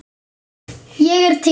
Ég er til.